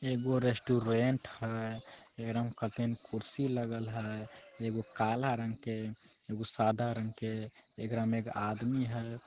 एगो रेस्टोरेंट है एकरा में कतईन कुर्सी लगल है एगो काला रंग के एगो सादा रंग के एकरा में एक आदमी है।